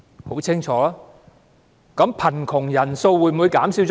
那貧窮人口的數目會否減少了？